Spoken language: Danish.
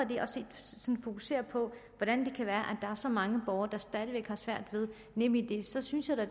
fokusere på hvordan det kan være at er så mange borgere der stadig væk har svært ved nemid så synes jeg da